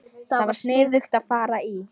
Það var sniðugt að fara í